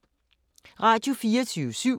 Radio24syv